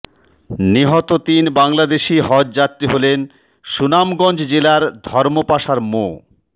নিহত তিন বাংলাদেশি হজযাত্রী হলেন সুনামগঞ্জ জেলার ধর্মপাশার মো